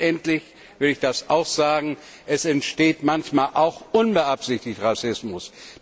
Letztendlich will ich sagen, es entsteht manchmal auch unbeabsichtigt Rassismus.